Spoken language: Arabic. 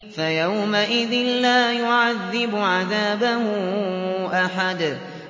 فَيَوْمَئِذٍ لَّا يُعَذِّبُ عَذَابَهُ أَحَدٌ